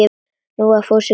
Nú var Fúsi glaður.